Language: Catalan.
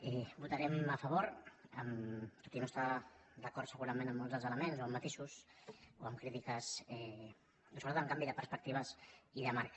i hi votarem a favor tot i no estar d’acord segurament amb molts dels elements o amb matisos o amb crítiques però sobretot amb canvi de perspectives i de marc